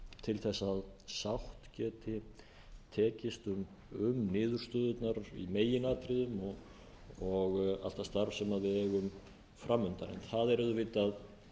til þess að sátt geti tekist um niðurstöðurnar í meginatriðum og allt það starf sem við eigum fram undan en það er auðvitað